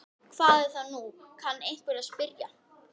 Hvað er það nú, kann einhver að spyrja.